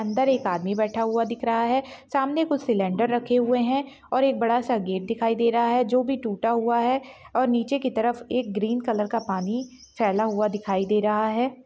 अंदर एक आदमी बैठा हुआ दिख दे रहा है सामने कुछ सिलेंडर रखे हुए हैं और एक बड़ा सा गेट दिखाई दे रहा है जो भी टूटा हुआ है और नीचे की तरफ एक ग्रीन कलर का पानी फैला हुआ दिखाई दे रहा है।